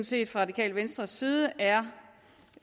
set fra radikale venstres side er